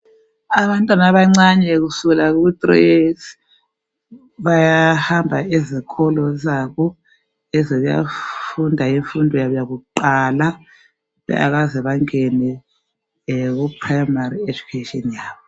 Abantwana abancane kusukela ku3 years bayahamba ezikolo zabo ezokuya Funda imfundo yakuqala bengakaze bangene kuprimary education yabo